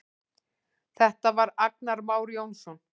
Þetta var Agnar Már Jónsson.